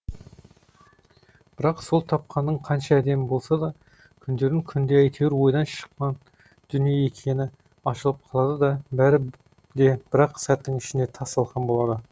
бірақ сол тапқаның қанша әдемі болса да күндердің күнінде әйтеуір ойдан шыққан дүние екені ашылып қалады да бәрі де бір ақ сәттің ішінде тас талқан болады